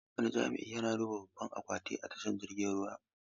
Wani jami'i yana duba babban akwati na a tashar jiragen ruwa.